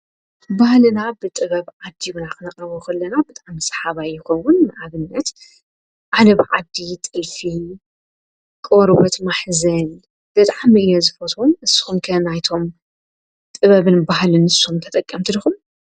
በህልና ብጥበብ ዓዲውናኽነቐበዂለና ብጣም ሰሓባይኮውን ኣብነት ዓነብ ዓዲ ጥልፊ ቕወርወት ማሕዘል ደጣምእየ ዝፈቶም ስኹምከ ናይቶም ጥበብን ባህል ንሶም ተጠቀምቲድኹም።